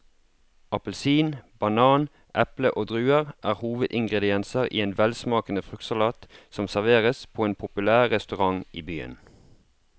Appelsin, banan, eple og druer er hovedingredienser i en velsmakende fruktsalat som serveres på en populær restaurant i byen.